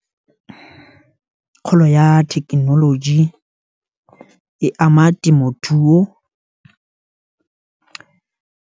kgolo ya thekenoloji e ama temothuo .